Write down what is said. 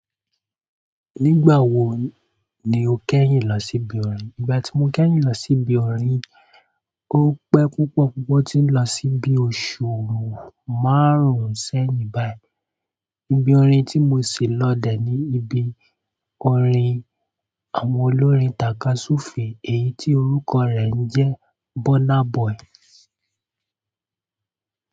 Nígbà wo ni o kẹ́yìn lọ sí ibi orin? Nígbà tí mo kẹ́yìn lọ sí ibi orin, ó pẹ́ púpọ̀ púpọ̀ tí n lọ sí ibi oṣù márùn-ún sẹ́yìn báyìí. Ibi orin tí mo ṣì lọ dè ni ibi orin àwọn olórin takasufe èyí tí orúkọ rẹ̀ ń jẹ́ Burna Boy.